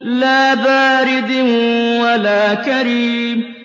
لَّا بَارِدٍ وَلَا كَرِيمٍ